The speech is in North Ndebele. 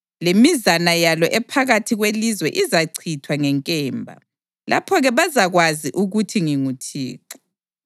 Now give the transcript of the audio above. lemizana yalo ephakathi kwelizwe izachithwa ngenkemba. Lapho-ke bazakwazi ukuthi nginguThixo.